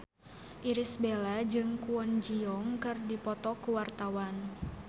Irish Bella jeung Kwon Ji Yong keur dipoto ku wartawan